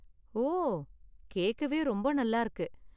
ஓ, கேக்கவே ரொம்ப நல்லா இருக்கு.